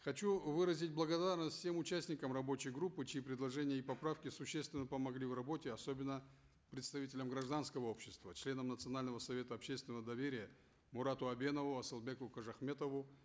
хочу выразить благодарность тем участникам рабочей группы чьи предложения и поправки существенно помогли в работе особенно представителям гражданского общества членам национального совета общественного доверия мурату абенову асылбеку кожахметову